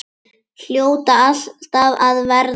Hljóta alltaf að verða það.